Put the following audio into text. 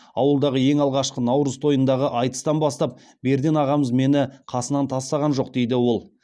ауылдағы ең алғашқы наурыз тойындағы айтыстан бастап берден ағамыз мені қасынан тастаған жоқ дейді ол